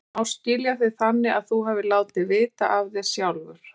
En má skilja þig þannig að þú hafir látið vita af þér sjálfur?